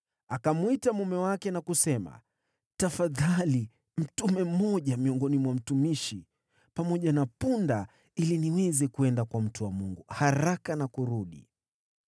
Akamwita mume wake na kusema, “Tafadhali mtume mmoja miongoni mwa mtumishi pamoja na punda ili niweze kwenda kwa mtu wa Mungu haraka na kurudi.”